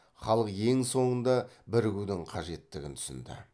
халық ең соңында бірігудің қажеттігін түсінді